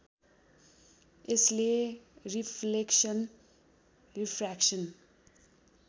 यसले reflection refraction